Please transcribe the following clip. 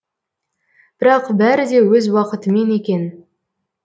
бірақ бәрі де өз уақытымен екен